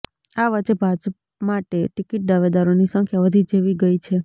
આ વચ્ચે ભાજપ માટે ટિકિટ દાવેદારોની સંખ્યા વધી જેવી ગઇ છે